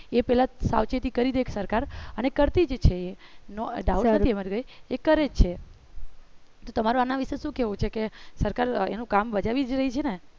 એ પહેલા સાવચેતી કરી દે એક સરકાર અને કરતી જે છે doubt નથી એમાં કઈ એ કરે છે તમારો આના વિશે શું કહેવું છે કે સરકાર એનું કામ બજાવી જ રહી છે ને